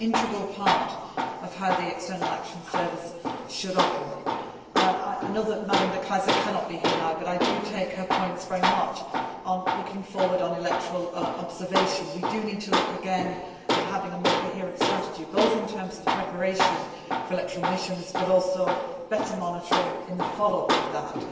It is an integral part of how the External Action Service should operate. I know that Mrs De Keyser cannot be here now but I do take her points very much on looking forward on electoral observation. We do need to look again at having a more coherent strategy, both in terms of the preparation for electoral missions, but also better monitoring in the follow up to that.